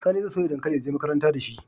Sani zai soya dankali ya je makaranta dashi